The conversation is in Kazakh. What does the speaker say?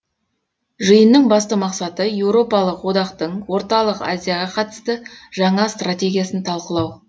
жиынның басты мақсаты еуропалық одақтың орталық азияға қатысты жаңа стратегиясын талқылау